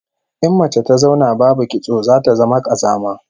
In mace ta zauna babu kitso zata zama kazama